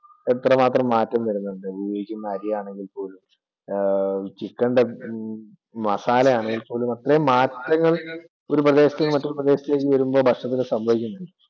എത്ര മാത്രം മാറ്റം വരുന്നുണ്ട്, ഉപയോഗിക്കുന്ന അരിയാണെങ്കിൽ പോലും chicken ൻ്റെ മസാലയാണെങ്കിൽ പോലും അത്രയും മാറ്റങ്ങൾ ഒരു പ്രദേശത്തുന്നു മറ്റേ പ്രദേശത്തേക്ക് വരുമ്പോൾ സംഭവിക്കുന്നുണ്ട്.